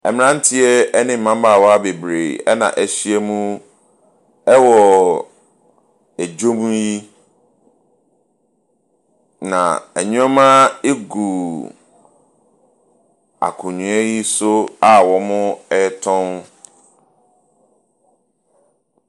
Mmeranteɛ ne mmabaawa bebree na wɔahyiam wɔ dwam yi, na nneɛma gu akonnwa bi so a wɔretɔn.